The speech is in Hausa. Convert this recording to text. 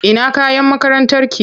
Ina kayan makarantarki?